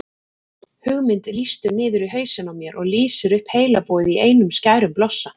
Hugmynd lýstur niður í hausinn á mér og lýsir upp heilabúið í einum skærum blossa